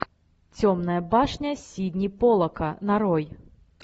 темная башня сидни поллака нарой